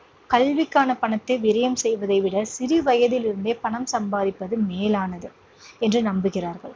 கல்விக்கான பணத்தை விரையம் செய்வதை விடச் சிறுவயதிலிருந்தே பணம் சம்பாதிப்பது மேலானது என்று நம்புகிறார்கள்.